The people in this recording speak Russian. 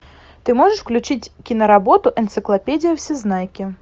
ты можешь включить киноработу энциклопедия всезнайки